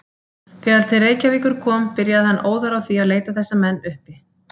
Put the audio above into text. Þegar til Reykjavíkur kom, byrjaði hann óðar á því að leita þessa menn uppi.